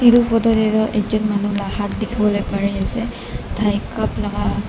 edu photo taetu ekjun la hat dikhiwo lae parease tai cup laka.